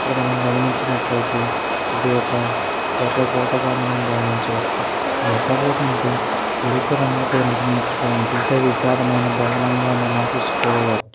ఇక్కడ మనం గమనించినట్లయితే ఇది ఒక ఎర్రకోటగా మనం భావించవచ్చు. ఆ ఎర్రకోట అంటే ఎరుపు రంగుతో నిర్మించినటువంటి పెద్ద విశాలమైన భవనంగా మనం తీసుకోవ--